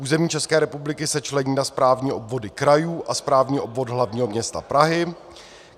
Území České republiky se člení na správní obvody krajů a správní obvod hlavního města Prahy.